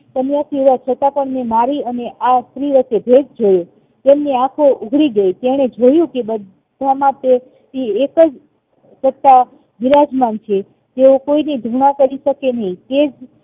સન્યાસી હોવા છતાં મેં મારી અને આ સ્ત્રી વચ્ચે ભેદ જોયો તેમની આખો ઉઘાડી ગય તેણે જોયુ કે બધા માટે એ એકજ સાત બિરાજમાન છે તેઓ કોઈનીધુણા કરીશકે નહિ કે